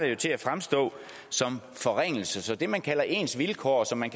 det til at fremstå som en forringelse så det man kalder ens vilkår som